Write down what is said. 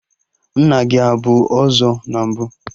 Nna gị abụ ọzọ na mbụ?